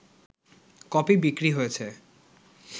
copy বিক্রি হয়েছে